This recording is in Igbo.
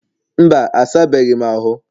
mba, a sabeghị m ahụ